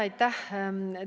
Aitäh!